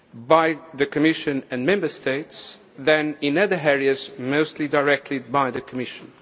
by the Commission and Member States than in other areas mostly directed by the Commission.